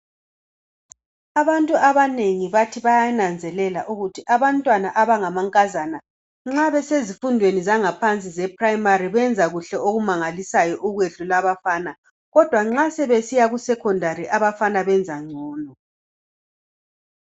Abantu abanengi bathi bayananzelela ukuthi abantwana abanga mankazana nxa besezifundweni zangaphansi zeprimari benza ngo kuhle okumangalisayo okwedlula abafana kodwa nxa sebesiya ku sekhondari abafana benza ngcono.